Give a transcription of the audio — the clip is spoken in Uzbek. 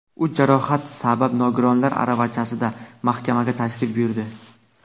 U jarohat sabab nogironlar aravachasida mahkamaga tashrif buyurdi.